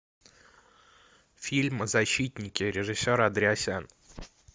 фильм защитники режиссер андреасян